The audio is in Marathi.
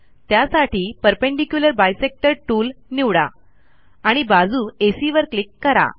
त्यासाठी परपेंडिक्युलर बायसेक्टर Toolनिवडा आणि बाजू एसी वर क्लिक करा